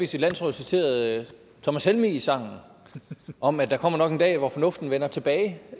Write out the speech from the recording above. sit landsråd citerede thomas helmigs sang om at der kommer nok en dag hvor fornuften vender tilbage